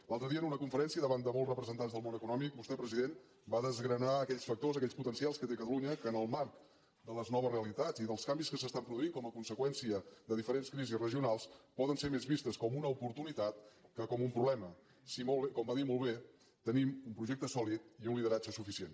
l’altre dia en una conferència davant de molts representants del món econòmic vostè president va desgranar aquells factors aquells potencials que té catalunya que en el marc de les noves realitats i dels canvis que s’estan produint com a conseqüència de diferents crisis regionals poden ser més vistos com una oportunitat que com un problema si com va dir molt bé tenim un projecte sòlid i un lideratge suficient